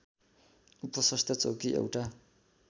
उपस्वास्थ्य चौकी एउटा